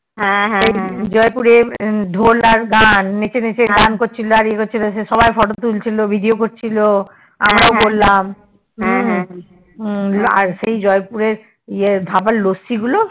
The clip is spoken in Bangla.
জয়পুর ধোল ঢাল গান নেচে নেচে গান করছিলো সে সব Photo তুলছিলো Video করছিলো আমরাও করলাম এই সেই জয় পুরের যে ধাবার ল্যাস্সি গুলো